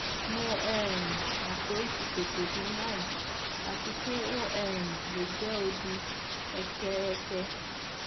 mo um mọ pe o ti tete ni bayi ati pe o um le jẹ odi eke eke